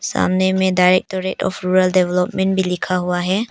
सामने में directorate of rural development भी लिखा हुआ है।